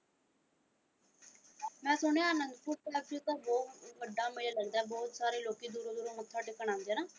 ਮੈਂ ਸੁਣਿਆ ਅਨੰਦਪੁਰ ਸਾਹਿਬ ਚ ਤਾਂ ਬਹੁਤ ਵੱਡਾ ਮੇਲਾ ਲੱਗਦਾ ਹੈ ਬਹੁਤ ਸਾਰੇ ਲੋਕੀ ਦੂਰੋਂ ਦੂਰੋਂ ਮੱਥਾ ਟੇਕਣ ਆਉਂਦੇ ਆ ਨਾ।